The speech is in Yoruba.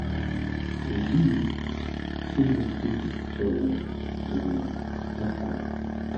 èyí tí mo fi tọ̀wọ̀tọ̀wọ̀ ta ko